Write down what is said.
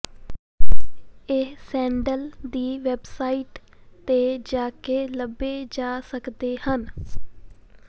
ਇਹ ਸੈਂਡਲ ਦੀ ਵੈਬਸਾਈਟ ਤੇ ਜਾ ਕੇ ਲੱਭੇ ਜਾ ਸਕਦੇ ਹਨ